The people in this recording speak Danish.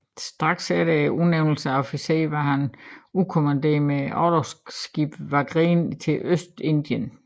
Straks efter sin udnævnelse til officer var han udkommanderet med orlogsskibet Wagrien til Ostindien